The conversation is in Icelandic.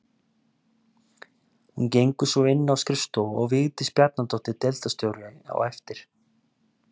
Hún gengur svo inn á skrifstofu og Vigdís Bjarnadóttir deildarstjóri á eftir.